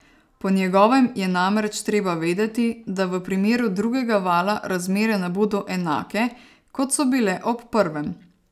Po njegovem je namreč treba vedeti, da v primeru drugega vala razmere ne bodo enake, kot so bile ob prvem.